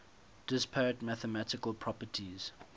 disparate mathematical properties